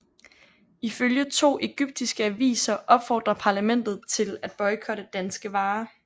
Ifølge to egyptiske aviser opfordrer parlamentet til at boykotte danske varer